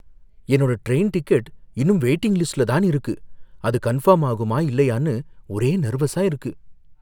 என்னோட train ticket இன்னும் waiting லிஸ்ட்ல தான் இருக்கு, அது கன்ஃபர்ம் ஆகுமா இல்லையானு ஒரே நெர்வஸா இருக்கு.